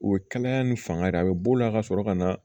U ye kalaya ni fanga de ye a bɛ b'o la ka sɔrɔ ka na